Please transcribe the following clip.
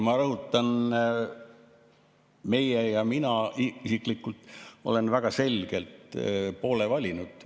Ma rõhutan, meie ja mina isiklikult oleme väga selgelt poole valinud.